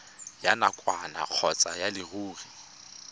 ya nakwana kgotsa ya leruri